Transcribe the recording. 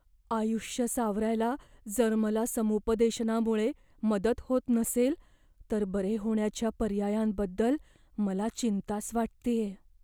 आयुष्य सावरायला जर मला समुपदेशनामुळे मदत होत नसेल तर बरे होण्याच्या पर्यायांबद्दल मला चिंताच वाटतेय.